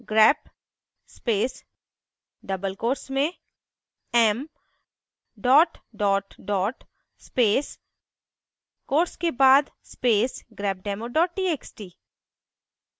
grep space double quotes में m dot dot dot space quotes के बाद space grepdemo txt